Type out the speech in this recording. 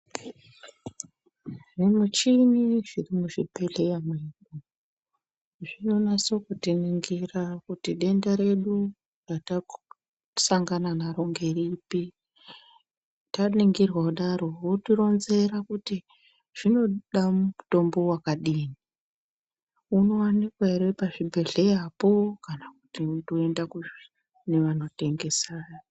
Zvimuchini zviri muchibhohleya mwedu zvinonasa kuti ningira kuti denda redu ratasangana naro ngeripi taningirwa kudaro wotironzera kuti zvinoda mutombo wakadini unowanikwa here pazvibhedhlerapo kana kuti unotoenda kuzvitoro kune vanotengesa.